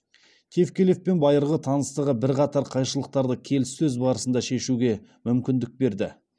тевкелевпен байырғы таныстығы бірқатар қайшылықтарды келіссөз барысында шешуге мүмкіндік береді